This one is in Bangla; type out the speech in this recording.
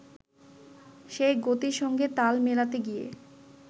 সেই গতির সঙ্গে তাল মেলাতে গিয়ে